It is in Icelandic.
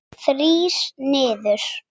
Þrír niður.